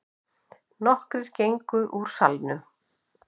Nokkrir gengu úr salnum.